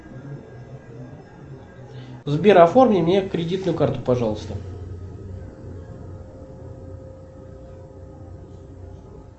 сбер оформи мне кредитную карту пожалуйста